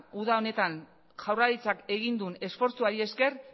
uda honetan jaurlaritzak egin duen esfortzuari esker